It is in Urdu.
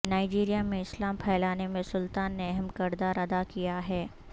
نائجیریا میں اسلام پھیلانے میں سلطان نے اہم کردار ادا کیا ہے